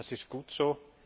Das ist gut so.